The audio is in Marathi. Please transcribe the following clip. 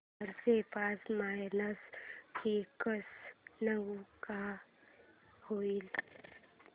चारशे पाच मायनस एकशे नऊ काय होईल